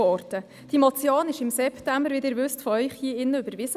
Wie Sie wissen, wurde diese Motion von Ihnen hier drin im September überwiesen.